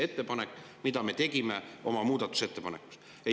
Selle pärast me tegime oma muudatusettepaneku.